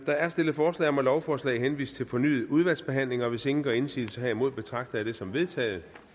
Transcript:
der er stillet forslag om at lovforslaget henvises til fornyet udvalgsbehandling og hvis ingen gør indsigelse herimod betragter jeg det som vedtaget